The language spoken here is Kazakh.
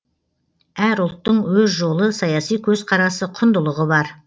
әр ұлттың өз жолы саяси көзқарасы құндылығы бар